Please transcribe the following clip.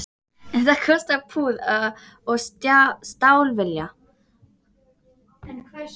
En það kostar puð og stálvilja